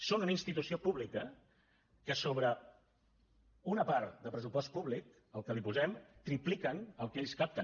són una institució pública que sobre una part de pressupost públic el que hi posem tripliquen el que ells capten